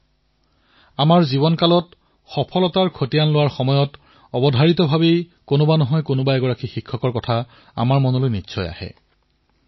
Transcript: আমি সকলোৱে যেতিয়া নিজৰ জীৱনৰ সফলতাক নিজৰ জীৱন যাত্ৰাত প্ৰত্যক্ষ কৰো তেতিয়া কোনোবা নহয় কোনোবা এজন শিক্ষকৰ কথা মনলৈ আহেই